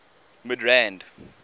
midrand